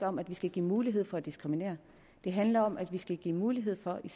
om at vi skal give mulighed for at diskriminere det handler om at vi skal give mulighed for i